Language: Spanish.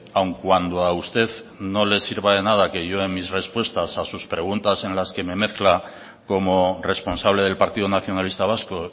aun cuando a usted no le sirva de nada que yo en mis respuestas a sus preguntas en las que me mezcla como responsable del partido nacionalista vasco